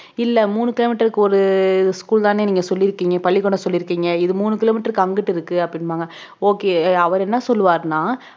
இல்ல மூணு kilo meter க்கு ஒரு school தானே நீங்க சொல்லியிருக்கீங்க பள்ளிக்கூடம் சொல்லியிருக்கீங்க இது மூணு kilo meter க்கு அங்கிட்டு இருக்கு அப்படின்னுவாங்க okay அவர் என்ன சொல்லுவாருன்னா